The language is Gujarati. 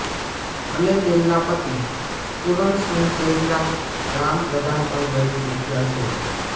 અને તેમના પતિ પુરણ સિંહ પહેલાં ગ્રામ પ્રધાન પણ રહી ચૂક્યા છે